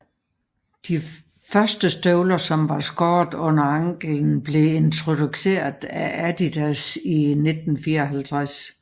De første støvler som var skåret under anklen blev introduceret af Adidas i 1954